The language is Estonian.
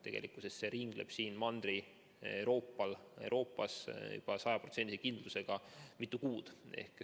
Tegelikkuses ringleb see Mandri-Euroopas sajaprotsendilise kindlusega juba mitu kuud.